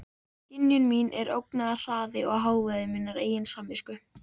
Skynjun mín er ógnarhraði og hávaði minnar eigin samvisku.